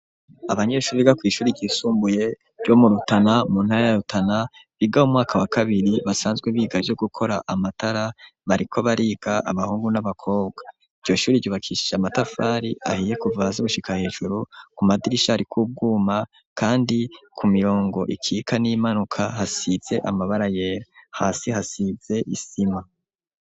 Abanyeshure biga kw'ishure ryisumbuye ryo mu Rutana, mu ntara ya Rutana, biga mu mwaka wa kabiri, basanzwe biga ivyo gukora amatara, bariko bariga, abahungu n'abakobwa. Iryo shure ryubakishishe amatafari ahiye kuva hasi gushika hejuru, ku madirisha hariko ubwuma kandi ku mirongo ikika n'iyimanuka hasize amabara yera. Hasi hasize isima.